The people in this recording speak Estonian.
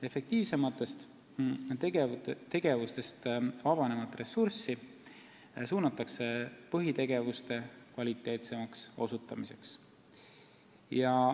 Efektiivsematest tegevustest avanevat ressurssi suunatakse põhitegevuste kvaliteetsemaks muutmisele.